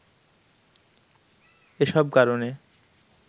এসব কারনে